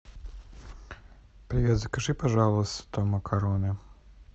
привет закажи пожалуйста макароны